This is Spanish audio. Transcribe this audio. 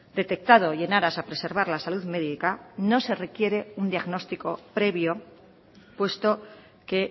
detectado y en aras a preservar la salud médica no se requiere un diagnóstico previo puesto que